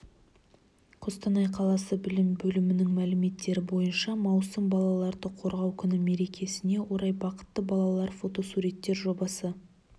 қостанай қаласы білім бөлімінің мәліметтері бойынша маусым балаларды қорғау күні мерекесіне орай бақытты балалар фотосуреттер жобасы